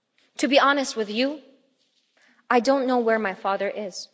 To be honest with you, I don't know where my father is.